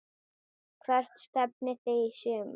Hvert stefnið þið í sumar?